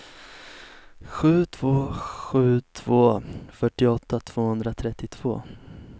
sju två sju två fyrtioåtta tvåhundratrettiotvå